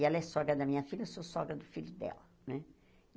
E ela é sogra da minha filha, eu sou sogra do filho dela né.